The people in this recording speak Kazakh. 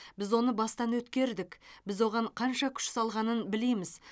біз оны бастан өткердік біз оған қанша күш жұмсалғанын білеміз